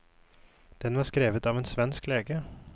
Den var skrevet av en svensk lege.